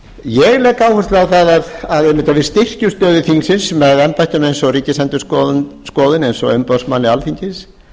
ég legg áherslu á einmitt að við styrkjum stöðu þingsins með embættum eins og ríkisendurskoðun eins og umboðsmanni alþingis